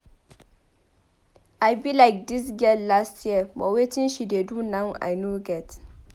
I be like dis girl dat year but wetin she dey do now I no get